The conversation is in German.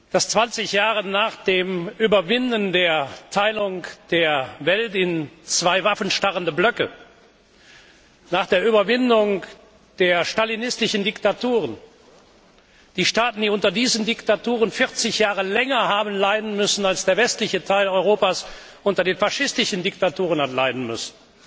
dass 20 Jahre nach der Überwindung der Teilung der Welt in zwei waffenstarrende Blöcke, nach der Überwindung der stalinistischen Diktaturen die Staaten, die 40 Jahre länger unter diesen Diktaturen haben leiden müssen, als der westliche Teil Europas unter den faschistischen Diktaturen hat leiden müssen,